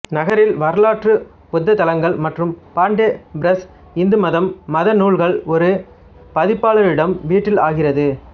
நகரில் வரலாற்றுச் புத்த தளங்கள் மற்றும் பாண்டே பிரஸ் இந்து மதம் மத நூல்கள் ஒரு பதிப்பாளரிடம் வீட்டில் ஆகிறது